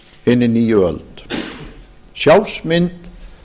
hinni nýju öld sjálfsmynd